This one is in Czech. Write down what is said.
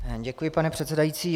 Děkuji, pane předsedající.